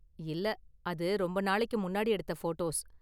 இல்ல, அது ரொம்ப நாளுக்கு முன்னாடி எடுத்த ஃபோட்டோஸ்.